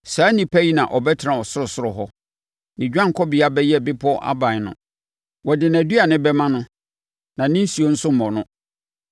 saa onipa yi na ɔbɛtena ɔsorosoro hɔ. Ne dwanekɔbea bɛyɛ bepɔ aban no. Wɔde nʼaduane bɛma no na ne nsuo mmɔ no.